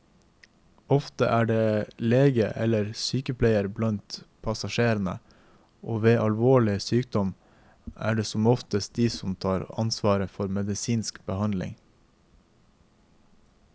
Ofte er det lege eller sykepleier blant passasjerene, og ved alvorlig sykdom er det som oftest de som tar ansvar for medisinsk behandling.